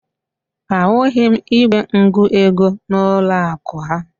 Ahụghị m igwe ngụego n'ụlọakụ ha